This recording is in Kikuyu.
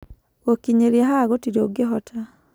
Gũkinyĩria haha gũtirĩ ũngĩhota